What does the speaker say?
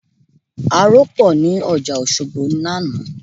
Aró pọ̀ ní ọjà Òṣogbo lánàá